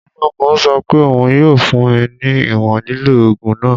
Oloogun sọ pe oun yoo fun mi ni iwọn lilo oogun naa.